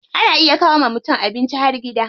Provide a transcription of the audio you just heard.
Ana iya kawo wa mutum abincin har gida.